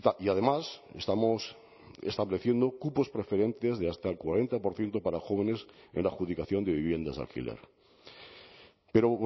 y además estamos estableciendo cupos preferentes de hasta el cuarenta por ciento para jóvenes en la adjudicación de viviendas de alquiler pero